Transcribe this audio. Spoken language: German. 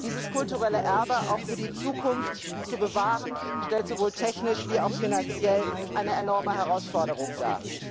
Dieses kulturelle Erbe auch für die Zukunft zu bewahren, stellt sowohl technisch wie auch finanziell eine enorme Herausforderung dar.